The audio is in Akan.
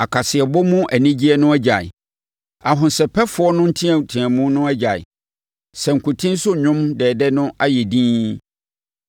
Akasaeɛbɔ mu anigyeɛ no agyae, ahosɛpɛfoɔ no nteateamu no agyae. Sankuten so nnwom dɛɛdɛ no ayɛ dinn.